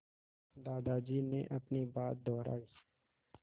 दादाजी ने अपनी बात दोहराई